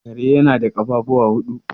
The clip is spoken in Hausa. Kare yana da ƙafafuwa huɗu.